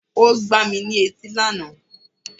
O gbà mí ní etí lànà